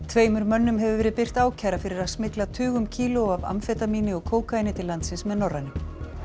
tveimur mönnum hefur verið birt ákæra fyrir að smygla tugum kílóa af amfetamíni og kókaíni til landsins með Norrænu